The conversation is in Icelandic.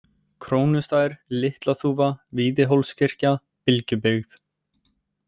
Krónustaðir, Litlaþúfa, Víðihólskirkja, Bylgjubyggð